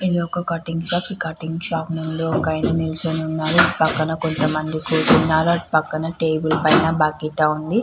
ఇదొక cutting shop ఈ cutting shop ముందు ఒకాయన నిల్చొని ఉన్నారు. ఈ పక్కన కొంత మంది కూర్చున్నారు అటుపక్కన టేబుల్ పైన బకెట ఉంది.